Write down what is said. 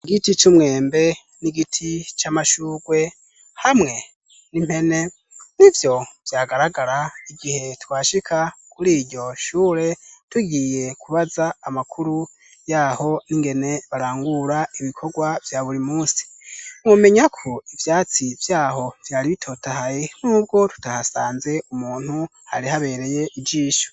Igiti c'umwembe n'igiti c'amashurwe hamwe n'impene nivyo vyagaragara igihe twashika kuri iryo shure tugiye kubaza amakuru yaho n'ingene barangura ibikorwa vya buri munsi mwomenya ko ivyatsi vyaho vyari bitotahaye nubwo tutahasanze umuntu hari habereye ijisho.